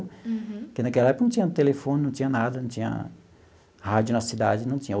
Uhum. Porque naquela época não tinha telefone, não tinha nada, não tinha rádio na cidade não tinha.